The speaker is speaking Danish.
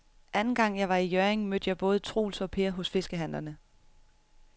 Anden gang jeg var i Hjørring, mødte jeg både Troels og Per hos fiskehandlerne.